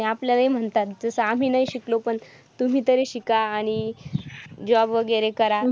आणि आपल्याला ही म्हणतात जसं आम्ही नाही शिकलो पण तुम्ही तरी शिका आणि job वगैरे करा.